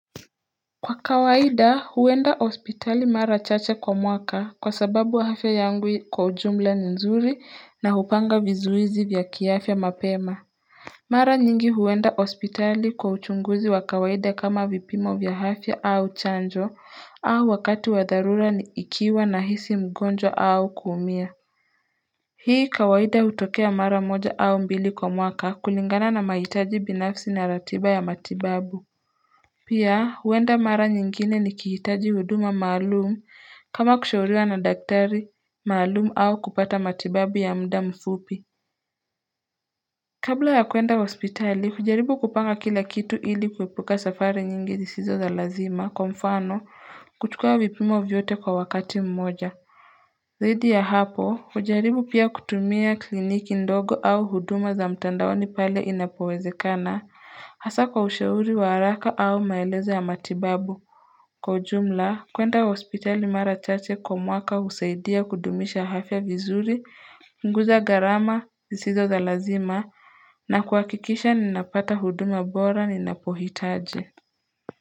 Kwa kawaida huenda hospitali mara chache kwa mwaka kwa sababu wa afya yangu kwa ujumla nzuri na hupanga vizuizi vya kiafya mapema Mara nyingi huenda hospitali kwa uchunguzi wa kawaida kama vipimo vya afya au chanjo au wakati wa dharura ni ikiwa na hisi mgonjwa au kuumia Hii kawaida hutokea mara moja au mbili kwa mwaka kulingana na mahitaji binafsi na ratiba ya matibabu Pia huwenda mara nyingine ni kihitaji huduma maalumu kama kushauriwa na daktari maalumu au kupata matibabu ya mda mfupi Kabla ya kuenda hospitali kujaribu kupanga kila kitu ili kuwepuka safari nyingi zisizo za lazima kwa mfano kutukua vipimo vyote kwa wakati mmoja Zaidi ya hapo ujaribu pia kutumia kliniki ndogo au huduma za mtandaoni pale inapowezekana hasa kwa usheuri waharaka au maeleze ya matibabu Kwa jumla, kwenda hospitali mara chache kwa mwaka usaidia kudumisha afya vizuri, punguza garama, zisizo za lazima, na kuhakikisha ninapata huduma bora ninapohitaji.